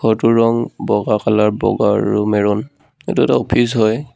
ঘৰটোৰ ৰং বগা কালাৰ বগা আৰু মেৰুন এইটো এটা অফিচ হয়।